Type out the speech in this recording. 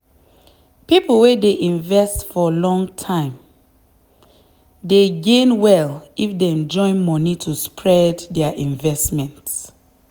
people wey dey invest for long time dey gain well if dem join money to spread their investment.